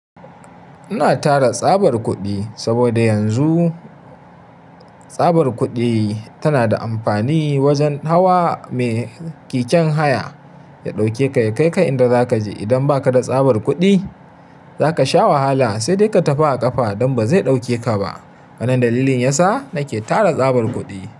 Ina tara tsabar kuɗi saboda yanzu tsabar kuɗi tana da amfani wajen hawa. Me keken haya ya ɗauke ka, ya kai ka inda zaka je. Idan ba ka da tsabar kuɗi, zaka sha wahala sai dai ka tafi a ƙafa don ba zai ɗauke ka ba. Wannan dalilin yasa nake tara tsabar kuɗi.